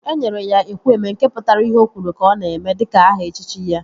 E nyere ya Ekwueme, nke pụtara ihe ọ kwuru ka ọ na-eme dịka aha echichi ya